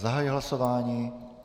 Zahajuji hlasování.